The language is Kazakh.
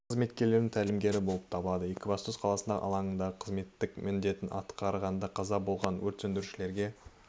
жас қызметкерлерінің тәлімгері болып табылады екібастұз қаласындағы алаңындағы қызметтік міндетін атқарғанда қаза болған өрт сөндірушілерге